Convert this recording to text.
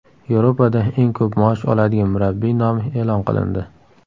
Yevropada eng ko‘p maosh oladigan murabbiy nomi e’lon qilindi.